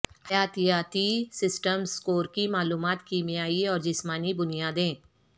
حیاتیاتی systems score کی معلومات کیمیائی اور جسمانی بنیادیں